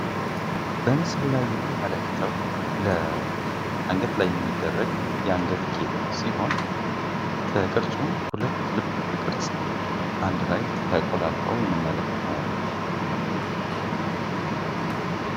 በምስሉ ላይ የምንመለከተው አንገት ላይ የሚደረግ የአንገት ጌጥ ሲሆን፤ በቅርፁም 2 ልብ ቅርፅ አንድ ላይ ተቆላልፈው እንመለከተዋለን።